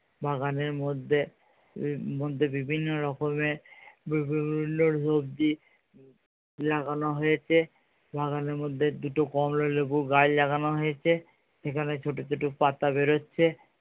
বাগানের মধ্যে, মধ্যে বিভিন্ন রকমের বিভিন্ন সবজি লাগানো হয়েছে। বাগানের মধ্যে দুটো কমলা লেবু গাছ লাগানো হয়েছে। সেখানে ছোটো ছোটো পাতা বের হচ্ছে।